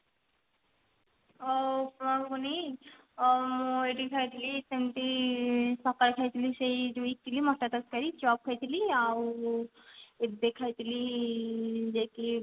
ଅ ଉପମା ଘୁଗୁନି ଅ ଏଇଠି ଖାଇଥିଲି ସେମିତି ସକାଳେ ଖାଇଥିଲି ସେଇ ଯୋଉ ଇଟିଲି ମଟର ତରକାରୀ ଚପ ଖାଇଥିଲି ଆଉ ଏବେ ଖାଇଥିଲି ଯାଇକି